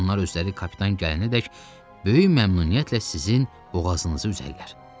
Onlar özləri kapitan gələnədək böyük məmnuniyyətlə sizin boğazınızı üzərlər.